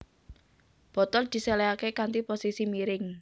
Botol diséléhaké kanthi posisi miring